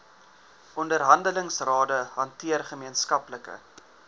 onderhandelingsrade hanteer gemeenskaplike